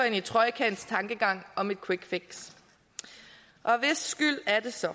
i trojkaens tankegang om et quick fix hvis skyld er det så